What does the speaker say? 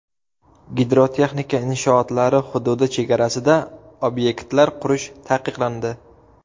Gidrotexnika inshootlari hududi chegarasida obyektlar qurish taqiqlandi.